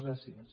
gràcies